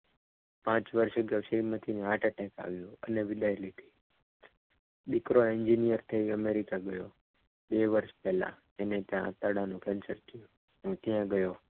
પાંચ વર્ષે ને heart atteck આયુ અને રિબાઈન દીકરો engineer થઈ amrica ગયો બે વર્ષ પહેલાં એને ત્યાં આંતરડાનું cancer થયું. હું ત્યાં ગયો.